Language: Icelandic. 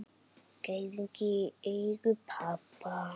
Gæðingi í eigu pabba.